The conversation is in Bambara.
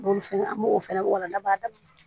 N b'olu fɛnɛ an b'o fɛnɛ walawala n'a b'a daminɛ